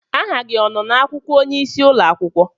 Aha gị ọ nọ na-akwụkwọ onyeisi ụlọakwụkwọ?